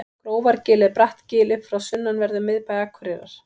grófargil er bratt gil upp frá sunnanverðum miðbæ akureyrar